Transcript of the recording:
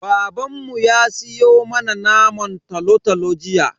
Babanmu ya siyo mana naman tolo-tolo jiya.